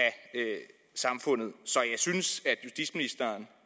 samfundet så jeg synes